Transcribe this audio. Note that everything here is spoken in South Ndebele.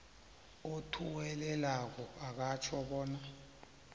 othuwelelako akutjho bona